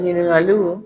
Ɲininkaliw